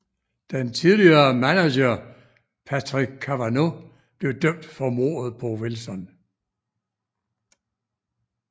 Den tidligere manager Patrick Cavanaugh blev dømt for mordet på Wilson